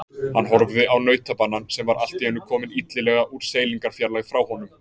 Hann horfði á nautabanann sem var allt í einu kominn illilega úr seilingarfjarlægð frá honum.